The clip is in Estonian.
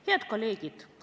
Head kolleegid!